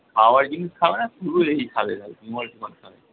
খাওয়ার জিনিস খাবে না শুধু এই খাবে, খালি বিমল টিমল খাবে।